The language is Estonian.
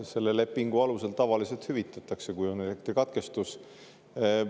Selle lepingu alusel tavaliselt hüvitatakse, kui on elektrikatkestus.